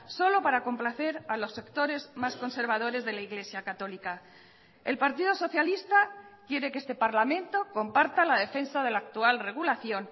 solo para complacer a los sectores más conservadores de la iglesia católica el partido socialista quiere que este parlamento comparta la defensa de la actual regulación